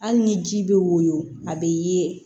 Hali ni ji bɛ woyon a bɛ ye